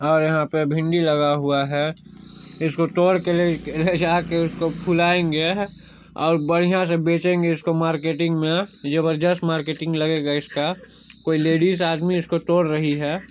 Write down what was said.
और यहाँ पे फ़ीनडि लगा हुआ हैं इसको टोर के ले जाके उसको फुलाएंगे और बधियाँ से बेचेंगे इसको मार्केटिंग मे ये बस जस्ट मार्केटिंग लगेगा इसका कोई लेडीस आदमी इसको टोर रही हैं।